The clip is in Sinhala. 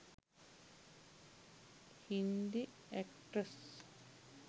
hindi actress